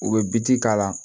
U bɛ biti k'a la